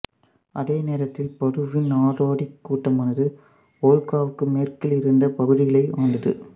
அதே நேரத்தில் படுவின் நாடோடிக் கூட்டமானது வோல்காவுக்கு மேற்கில் இருந்த பகுதிகளை ஆண்டது